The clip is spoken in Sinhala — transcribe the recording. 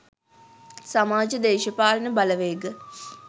සමාජ දේශපාලන බලවේග